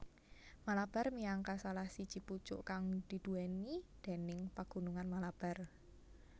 Malabar miangka salah siji pucuk kang diduwèni déning Pagunungan Malabar